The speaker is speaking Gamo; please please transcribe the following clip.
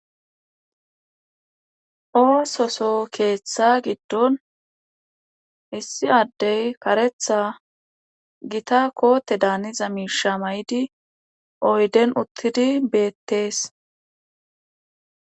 oososo keeththa giddon issi addey karetha gita koote daaniza miisha may7idi oyden uttidi beettees